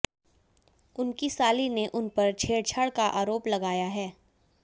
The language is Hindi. उनकी साली ने उनपर छेड़छाड़ का आरोप लगाया है